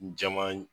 Jama